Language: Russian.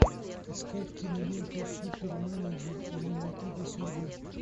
искать киноленту суперменеджер или мотыга судьбы